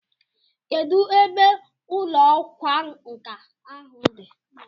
Kedụ ebe ụlọ ọkwa nkà ahụ dị?